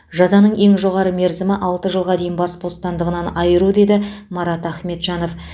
жазаның ең жоғары мерзімі алты жылға дейін бас бостандығынан айыру деді марат ахметжанов